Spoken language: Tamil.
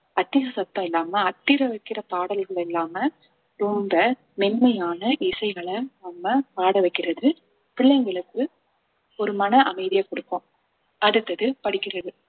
அதிக சத்தம் இல்லாம அதிர வைக்கிற பாடல்கள் இல்லாம ரொம்ப மென்மையான இசைகள நம்ம பாட வைக்கிறது பிள்ளைங்களுக்கு ஒரு மன அமைதியை கொடுக்கும் அடுத்தது படிக்கிறது